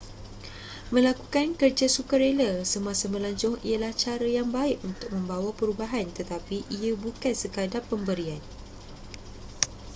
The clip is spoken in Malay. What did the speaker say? melakukan kerja sukarela semasa melancong ialah cara yang baik untuk membawa perubahan tetapi ia bukan sekadar pemberian